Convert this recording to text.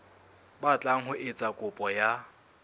batlang ho etsa kopo ya